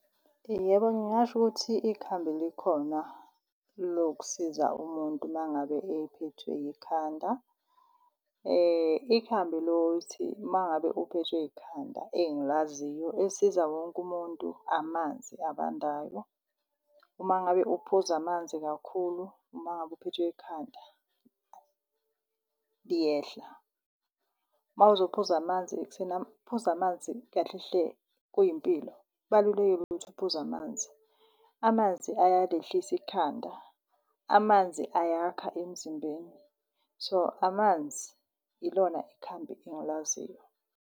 Yebo, ngingasho ukuthi ikhambi likhona lokusiza umuntu mangabe ephethwe yikhanda. Ikhambi lokuthi mangabe uphethwe ikhanda engilaziyo elisiza wonke umuntu, amanzi abandayo. Uma ngabe uphuza amanzi kakhulu uma ngabe uphethwe ikhanda, liyehla. Mawuzophuza amanzi, ukuphuza amanzi kahle hle kuyimpilo. Kubalulekile ukuthi uphuze amanzi. Amanzi ayalehlisa ikhanda, amanzi ayakha emzimbeni. So, amanzi ilona ikhambi engilaziyo.